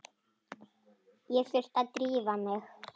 Ég þurfti að drífa mig.